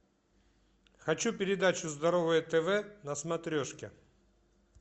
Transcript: хочу передачу здоровое тв на смотрешке